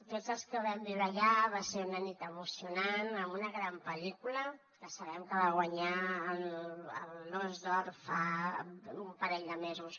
tots els que ho vam viure allà va ser una nit emocionant amb una gran pel·lícula que sabem que va guanyar l’os d’or fa un parell de mesos